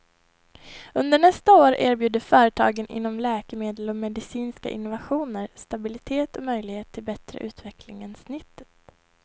Under nästa år erbjuder företagen inom läkemedel och medicinska innovationer stabilitet och möjligheter till bättre utveckling än snittet.